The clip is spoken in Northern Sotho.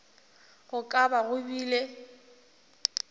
go ka ba go bile